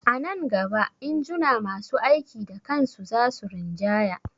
A nan gaba injuna masu aiki da kan su za su rinjaya